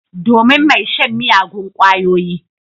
Domin mai shan miyagun kwayoyi.